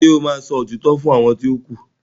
ṣe o má sọ òtítọ́ fún àwọn ti o ku?